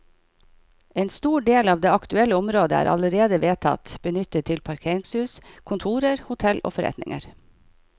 En stor del av det aktuelle området er allerede vedtatt benyttet til parkeringshus, kontorer, hotell og forretninger.